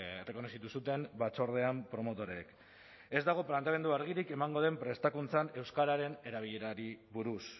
errekonozitu zuten batzordean promotoreek ez dago planteamendu argirik emango den prestakuntzan euskararen erabilerari buruz